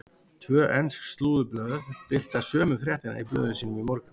Tvö ensk slúðurblöð birta sömu fréttina í blöðum sínum í morgun.